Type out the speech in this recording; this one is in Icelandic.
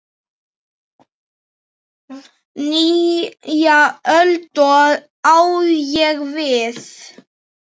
Nýja öld, á ég við.